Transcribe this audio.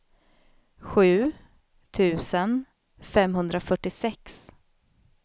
sju tusen femhundrafyrtiosex